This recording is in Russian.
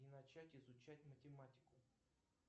и начать изучать математику